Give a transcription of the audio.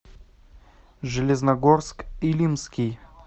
железногорск илимский